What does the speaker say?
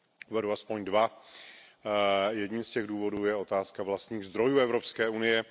Uvedu aspoň dva. Jedním z těch důvodů je otázka vlastních zdrojů Evropské unie.